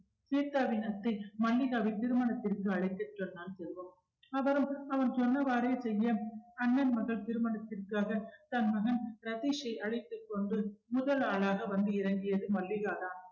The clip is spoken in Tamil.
ஸ்வேத்தாவின் அத்தை மல்லிகாவின் திருமணத்திற்கு அழைத்துச்சொன்னார் செல்வம் அவரும் அவன் சொன்னவாறே செய்ய அண்ணன் மகள் திருமணத்திற்காக தன் மகன் ரதீஷை அழைத்துக்கொண்டு முதல் ஆளாக வந்து இறங்கியது மல்லிகாதான்